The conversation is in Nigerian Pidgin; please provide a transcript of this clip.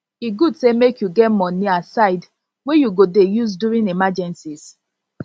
e good say make you get money aside wey you go dey use during emergencies